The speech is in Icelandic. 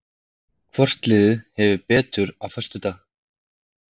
Hvort liðið hefur betur á föstudag?